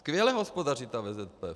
Skvěle hospodaří ta VZP.